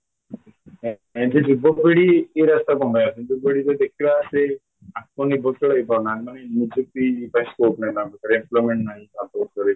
ଏଠି ଯୁବ ପିଢ଼ି ଇଏ ରାସ୍ତାକୁ କ'ଣପାଇଁ ଆସୁଛନ୍ତି ଯୁବପିଢ଼ି ଦେଖିଲା ସେ ଆତ୍ମ ନିର୍ଭରଶୀଳ ହେଇ ପାରୁ ନାହାନ୍ତି କି ନିଯୁକ୍ତି ପାଇଁ scope ନାହିଁ ତାଙ୍କ ଉପରେ employment ନାହିଁ